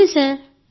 అవును సార్